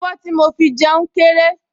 Abọ́ tí mo fi jẹun kéré